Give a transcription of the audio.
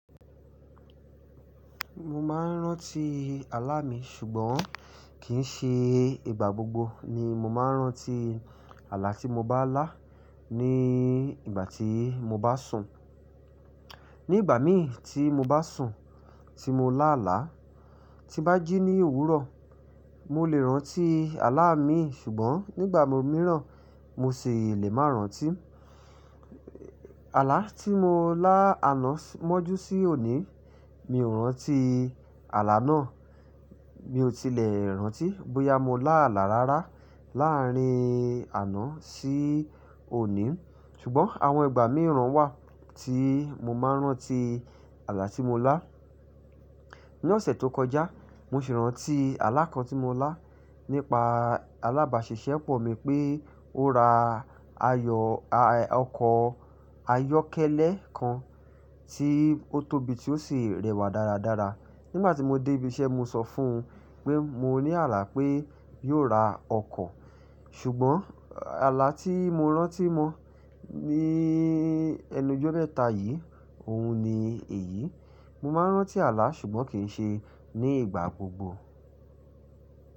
Mo má ń rán tí alá mi ṣùgbọ́n kì í ṣe ìgbà gbogbo ni mo máa ń rán tí alá tí mo bá lá ní ìgbà tí mo bá sùn. Ní ìgbà míì tí mo bá sùn, tí mo lá alá, ti bá jí ní òwúrọ̀, mo lè rán tí alá mi ṣùgbọ́n nígbà mìíràn mo ṣi lè má rán tí. Alá tí mo lá àná mọ́jú sí òní, mi ò rán tí alá náà. Mi ò tilè rán tí, bóyá mo lá alá rárá láàárín àná sí òní. Ṣùgbọ́n àwọn ìgbà mìíràn wà tí mo máa ń rán tí alá tí mo lá. Ní ọ̀sẹ̀ tó kọjá, mo ṣe rán tí alá kan tí mo lá nípa alábàáṣiṣẹ́ pọ̀ mi pé ó ra ayọ̀, ọkọ̀ ayọ́kẹ́lẹ́ kan tí ó tóbi tí ó sì rẹwà dáradára. Nígbà tí mo dé ibi iṣẹ́, mo sọ fún un pé mo ní àlà pé yóò ra ọkọ̀. Ṣùgbọ́n alá tí mo rán tí mọ́ ní ẹnújọ́ mẹ́ta yìí, òun ni èyí. Mo máa ń rán tí alá ṣùgbọ́n kì í ṣe ní ìgbà gbogbo.